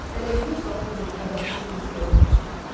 Ələ heç vaxt bu cür ədəbsiz qız görməmişəm.